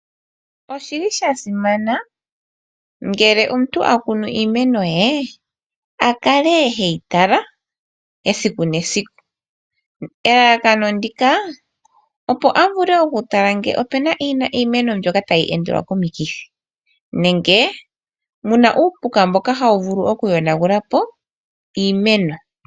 Oshili sha simana ngele omuntu akunu iimeno ye a kale heyi tala esiku nesiku. Elalakano ndika, opo avule oku tala ngele opuna iimeno mbyoka tayi endelwa komikithi, nenge muna uupuka mboka hawu vulu oku yonagula po iimeno.